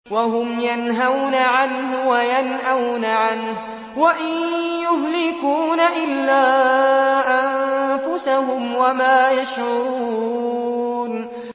وَهُمْ يَنْهَوْنَ عَنْهُ وَيَنْأَوْنَ عَنْهُ ۖ وَإِن يُهْلِكُونَ إِلَّا أَنفُسَهُمْ وَمَا يَشْعُرُونَ